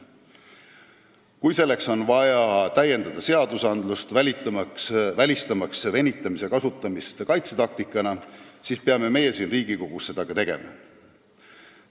Kui on vaja täiendada seadusi, välistamaks venitamise kasutamist kaitsetaktikana, siis peame meie Riigikogus seda tegema.